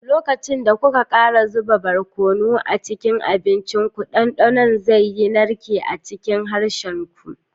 Lokacin da kuka ƙara zuba barkono a cikin abincinku, dandanon zai yi narke a cikin harshen ku.